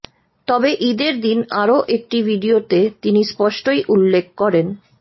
তবে ঈদের দিন আরও একটি ভিডিওতে তিনি স্পষ্টই উল্লেখ করেন